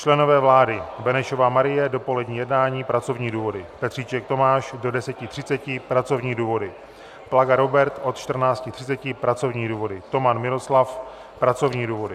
Členové vlády: Benešová Marie - dopolední jednání, pracovní důvody, Petříček Tomáš do 10.30 - pracovní důvody, Plaga Robert od 14.30 - pracovní důvody, Toman Miroslav - pracovní důvody.